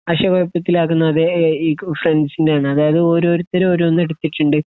ആശയക്കുഴപ്പത്തിൽ ആക്കുന്നത് അത് ഏഹ് ഈ ഫ്രണ്ടിന്റെ ആണ് അതായത് ഓരോരുത്തർ ഓരോന്ന് എടുത്തിട്ടുണ്ട്